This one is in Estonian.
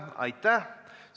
Aitäh!